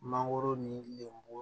Mangoro ni lenburu